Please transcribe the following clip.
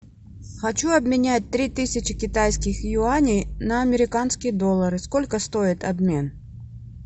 хочу обменять три тысячи китайских юаней на американские доллары сколько стоит обмен